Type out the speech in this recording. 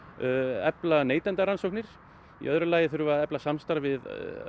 efla neytendarannsóknir í öðru lagi þurfum við að efla samstarf við